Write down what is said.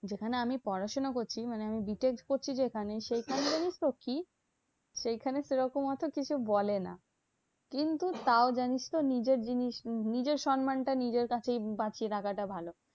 যেখানে আমি পড়াশোনা করছি মানে আমি বি টেক পড়ছি যেখানে, সেখানে জানিসতো কি? সেখানে সেরকম অত কিছু বলে না। কিন্তু তাও জানিসতো? নিজের জিনিস নিজের সম্মানটা নিজের কাছেই বাঁচিয়ে রাখাটা ভালো।